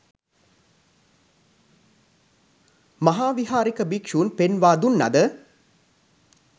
මහාවිහාරික භික්‍ෂූන් පෙන්වා දුන්න ද